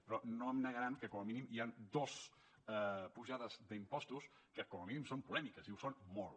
però no em negaran que com a mínim hi han dos pujades d’impostos que com a mínim són polèmiques i ho són molt